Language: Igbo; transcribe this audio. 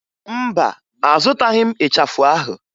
Mba, azụtaghị m ịchafụ ahụ